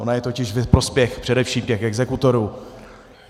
Ona je totiž ve prospěch především těch exekutorů.